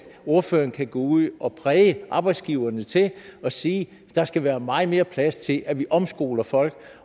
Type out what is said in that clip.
ordføreren kan gå ud og præge arbejdsgiverne til at sige at der skal være meget mere plads til at vi omskoler folk